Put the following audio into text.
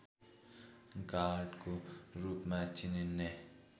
गाडको रूपमा चिनिने